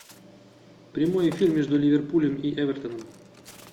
прямой эфир между ливерпулем и эвертоном